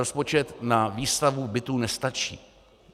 Rozpočet na výstavbu bytů nestačí.